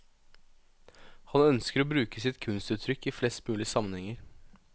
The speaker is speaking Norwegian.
Han ønsker å bruke sitt kunstuttrykk i flest mulig sammenhenger.